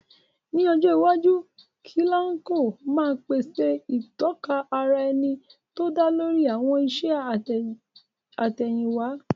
Ní ọjọ́ iwájú, Kilanko máa pèsè ìtọ́ka ara ẹni tó dá lórí àwọn iṣẹ́ àtẹ̀yìnwá.